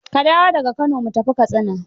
Ka dawo da ga Kano mu tafi Katsina.